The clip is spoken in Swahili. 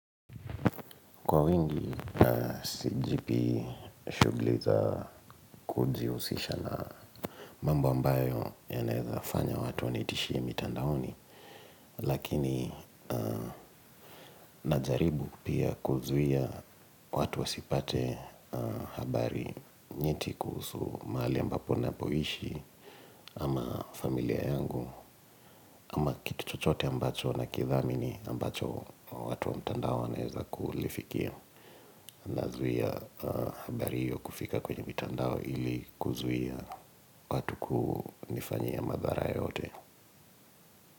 Kwa wingi, sijipi shughuli za kujihusisha na mambo ambayo yanaeza fanya watu wanitishie mitandaoni. Lakini, najaribu pia kuzuia watu wasipate habari nyeti kuhusu mahali ambapo napoishi ama familia yangu. Ama kitu chochote ambacho na kidhamini ambacho watu wa mtandao wanaeza kulifikia Nazuia habari hiyo kufika kwenye mitandao ili kuzuia watu kunifanyia madhara yoyote.